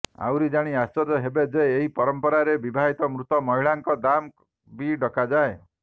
ଆହୁରି ଜାଣି ଆଶ୍ଚର୍ଯ୍ୟ ହେବେ ଯେ ଏହି ପରମ୍ପରାରେ ବିବାହିତ ମୃତ ମହିଳାଙ୍କ ଦାମ୍ ବି ଡକାଯାଏ